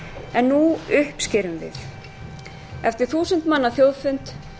en nú uppskerum við eftir þúsund manna þjóðfund